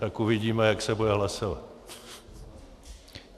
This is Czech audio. Tak uvidíme, jak se bude hlasovat.